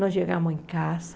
Nós chegamos em casa,